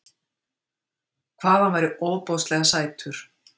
Hvað hann væri ofboðslega sætur.